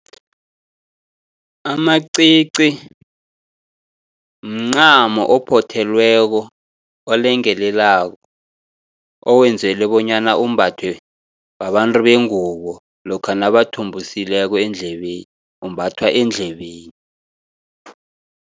Amacici mncamo ophothelweko, olengelelako owenzelwe bonyana umbathwe babantu bengubo, lokha nabathumbusileko endlebeni, umbathwa endlebeni.